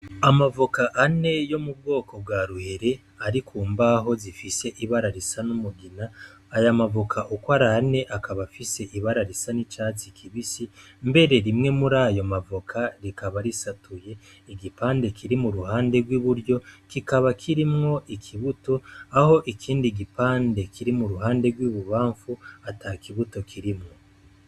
Amavoka ane yo mu bwoko bwa ruhere ari kumbaho zifise ibara risa n'umugina, aya mavoka uko ari ane akaba afise ibara risa n'icatsi kibisi mbere rimwe muri ayo mavoka rikaba risatuye igipande kiri muruhande gw'iburyo kikaba kirimwo ikibuto aho ikindi gipande kiri muruhande gw'ibubamfu atakibuto kirimwo.